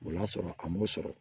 O y'a sɔrɔ a m'o sɔrɔ